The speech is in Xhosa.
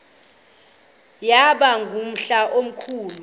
yaba ngumhla omkhulu